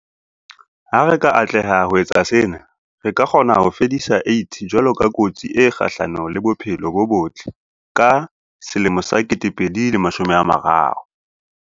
Ha re ka atleha ho etsa sena, re ka kgona ho fedisa AIDS jwalo ka kotsi e kgahlano le bophelo bo botle ka 2030.